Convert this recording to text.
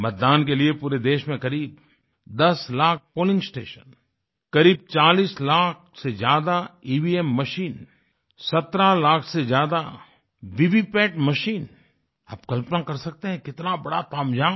मतदान के लिए पूरे देश में करीब 10 लाख पोलिंग स्टेशन करीब 40 लाख से ज्यादा ईवीएम ईवीएम मशीन 17 लाख से ज्यादा वीवीपैट वीवीपैट मशीन आप कल्पना कर सकते हैं कितना बड़ा तामझाम